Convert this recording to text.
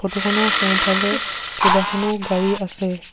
Photo খনৰ সোঁফালে কেইবাখনো গাড়ী আছে।